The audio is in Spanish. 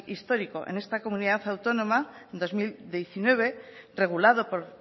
histórico en esta comunidad autónoma en dos mil diecinueve regulado por